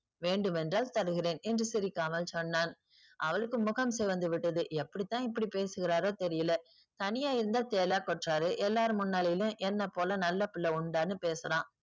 வேண்டும் என்றால் தருகிறேன் என்று சிரிக்காமல் சொன்னான். அவளுக்கு முகம் சிவந்து விட்டது. எப்படி தான் இப்படி பேசுகிறாரோ தெரியலை. தனியா இருந்தா தேளா கொட்டுறாரு. எல்லார் முன்னாலயுமே என்ன போல நல்ல புள்ள உண்டான்னு பேசுறான்.